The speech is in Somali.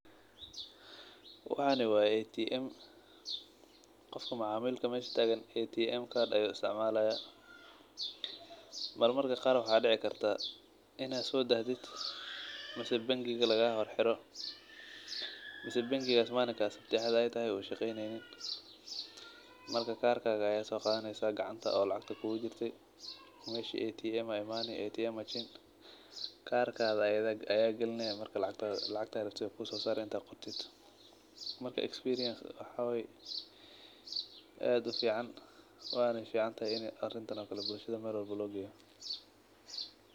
Waxan waye ATM.Qofka macamilka meesha taqaan ATM card ayu isticmalaya marmarka qaar waxa dici kartaa ina soo saxdid ama bank gigas lagaso horxiro mise bank gigas manikas sabti iyo axad ay tahy u shaqeynaynin marka kaarka aya sogadhanyesa gacanta oo lacagta kugujirte meshi ATM aya imaani karka aya galineya marka lacagta raabte way kusosare inta qortit marka experienc waxawaye aad ufican wana ficantahay inaa arintaan o kale bulshada loo geeyo.